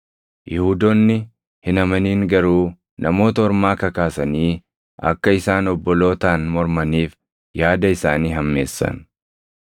Yihuudoonni hin amanin garuu Namoota Ormaa kakaasanii akka isaan obbolootaan mormaniif yaada isaanii hammeessan.